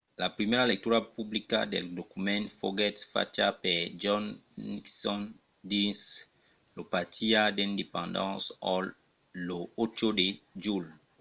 la primièra lectura publica del document foguèt facha per john nixon dins lo pati d'independence hall lo 8 de julh